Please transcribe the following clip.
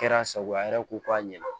Kɛra a sago ye a yɛrɛ ko k'a ɲɛna